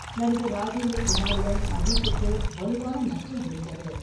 நடிகர் ராஜேந்திர குமாருடன் அஜித்துக்கு வலுவான நட்பு இருந்தது.